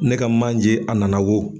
Ne ka manje a nana wo.